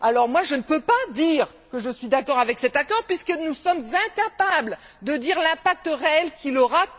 Moi, je ne peux pas dire que je suis d'accord avec cet accord, puisque nous sommes incapables de dire l'impact réel qu'il aura.